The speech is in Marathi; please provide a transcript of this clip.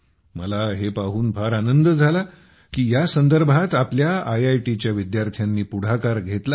मला हे पाहून फार आनंद झाला की या संदर्भात आपल्या आयआयटीच्या विद्यार्थ्यांनी पुढाकार घेतला आहे